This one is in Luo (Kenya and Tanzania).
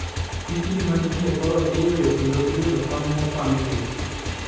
Pichni ma nitie e korot iyweyo kendo iwilo pang mopang gi